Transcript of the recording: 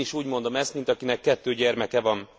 Én is úgy mondom ezt mint akinek kettő gyermeke van.